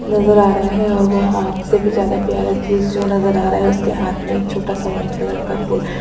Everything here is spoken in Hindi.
नज़र आ रहा है और से भी ज्यादा प्यारा चीज जो नज़र आ रहा है उसके हाथ मे छोटा सा वाइट कलर का फूल --